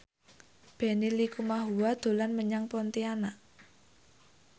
Benny Likumahua dolan menyang Pontianak